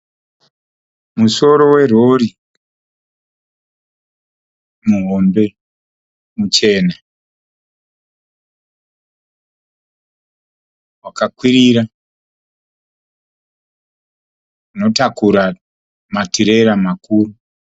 Musoro werori muhombe muchena wakakwirira. Unotakura matirera makuru